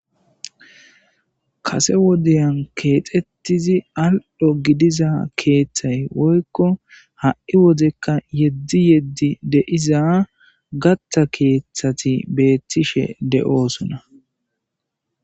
kase wodiyan keexettizi aldho gidiza keeththay woykko ha7i wozekka yeddi yeddi deiza gatta keeththati beettishe de7osona